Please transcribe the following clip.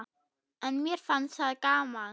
En mér fannst það gaman.